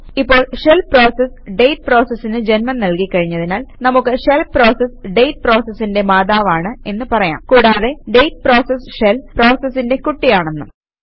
ഇപ്പോൾ shell process ഡേറ്റ് പ്രോസസിന് ജന്മം നല്കി കഴിഞ്ഞതിനാൽ നമുക്ക് ഷെൽ പ്രോസസ് ഡേറ്റ് പ്രോസസിന്റെ മാതാവാണ് എന്ന് പറയാം കൂടാതെ ഡേറ്റ് പ്രോസസ് ഷെൽ പ്രോസസിന്റെ കുട്ടിയാണെന്നും